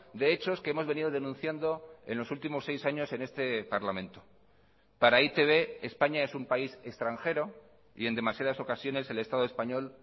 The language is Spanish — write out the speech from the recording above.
de hechos que hemos venido denunciando en los últimos seis años en este parlamento para e i te be españa es un país extranjero y en demasiadas ocasiones el estado español